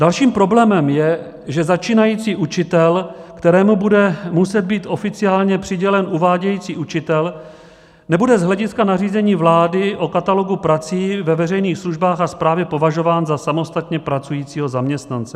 Dalším problémem je, že začínající učitel, kterému bude muset být oficiálně přidělen uvádějící učitel, nebude z hlediska nařízení vlády o katalogu prací ve veřejných službách a správě považován za samostatně pracujícího zaměstnance.